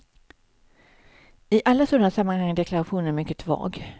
I alla sådana sammanhang är deklarationen mycket vag.